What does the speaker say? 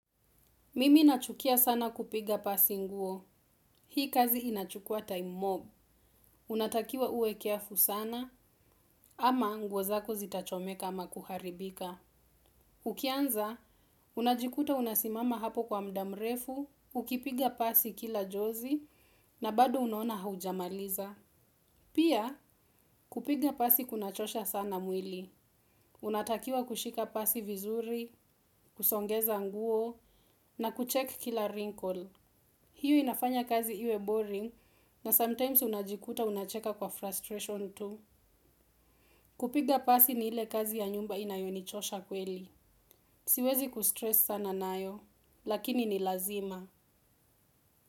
Mimi nachukia sana kupiga pasi nguo. Hii kazi inachukua time mob. Unatakiwa uwe careful sana ama nguo zako zitachomeka ama kuharibika. Ukianza unajikuta unasimama hapo kwa muda murefu ukipiga pasi kila jozi na bado unaona haujamliza. Pia, kupiga pasi kunachosha sana mwili. Unatakiwa kushika pasi vizuri, kusongeza nguo na kuchek kila wrinkle. Hiyo inafanya kazi iwe boring na sometimes unajikuta unacheka kwa frustration tu. Kupiga pasi ni ile kazi ya nyumba inayonichosha kweli. Siwezi kustress sana nayo, lakini ni lazima.